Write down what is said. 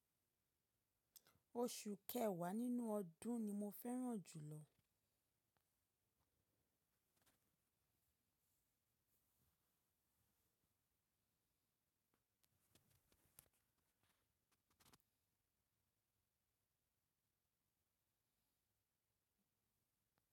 Oṣù kẹwàá nínú ọdún ni mo fẹ́ràn jùlọ.